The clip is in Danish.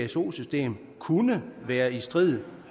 pso system kunne være i strid